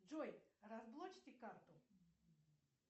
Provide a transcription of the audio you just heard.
джой разблочьте карту